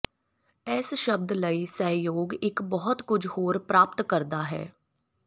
ਇਸ ਸ਼ਬਦ ਲਈ ਸਹਿਯੋਗ ਇੱਕ ਬਹੁਤ ਕੁਝ ਹੋਰ ਪ੍ਰਾਪਤ ਕਰਦਾ ਹੈ